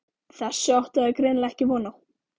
Þessu áttu þær greinilega ekki von á.